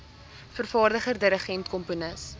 vervaardiger dirigent komponis